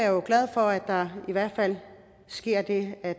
jo glad for at der i hvert fald sker det at